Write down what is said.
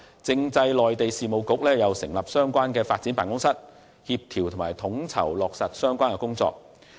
政制及內地事務局亦會成立相關發展辦公室，協調及統籌落實相關工作。